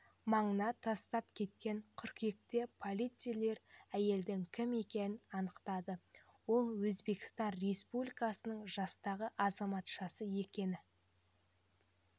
маңына тастап кеткен қыркүйекте полицейлер әйелдің кім екенін анықтады ол өзбекстан республикасының жастағы азаматшасы екені